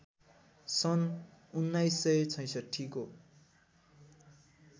सन् १९६६ को